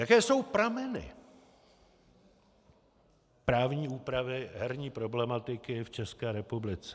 Jaké jsou prameny právní úpravy herní problematiky v České republice.